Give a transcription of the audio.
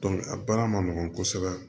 a baara ma nɔgɔn kosɛbɛ